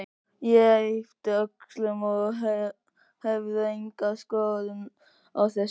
Ég yppti öxlum, ég hafði enga skoðun á þessu.